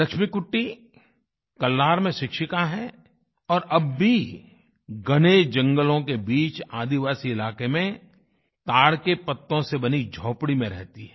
लक्ष्मीकुट्टी कल्लार में शिक्षिका हैं और अब भी घने जंगलों के बीच आदिवासी इलाके में ताड़ के पत्तों से बनी झोपड़ी में रहती हैं